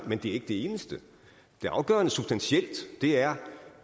men det er ikke det eneste det afgørende substantielle er